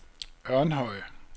Ørnhøj